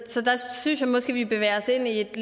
synes jeg måske vi bevæger os ind i et